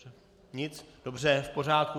Nic, dobře, v pořádku.